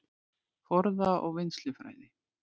Forða- og vinnslufræði